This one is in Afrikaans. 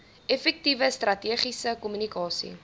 effektiewe strategiese kommunikasie